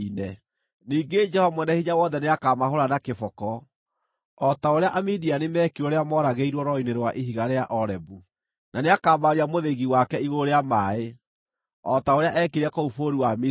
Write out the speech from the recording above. Ningĩ Jehova Mwene-Hinya-Wothe nĩakamahũũra na kĩboko, o ta ũrĩa Amidiani mekirwo rĩrĩa mooragĩirwo rwaro-inĩ rwa ihiga rĩa Orebu; na nĩakambararia mũthĩgi wake igũrũ rĩa maaĩ, o ta ũrĩa eekire kũu bũrũri wa Misiri.